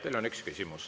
Teile on üks küsimus.